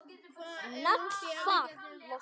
Naglfar losnar.